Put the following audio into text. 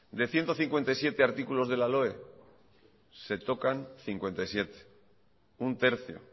de ciento cincuenta y siete artículos de la loe se tocan cincuenta y siete un tercio